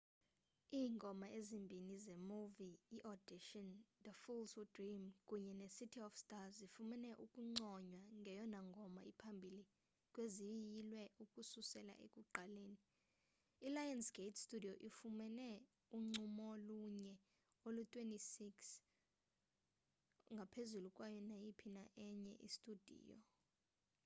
iingoma ezimbini zemuvi iaudition the fools who dream kunye necity of stars zifumene ukunconywa ngeyona ngoma iphambili kweziyilwe ukususela ekuqaleni. ilionsgate studio ifumene uncomelo oluyi-26o - ngaphezulu kwayo nayiphi na enye studiyo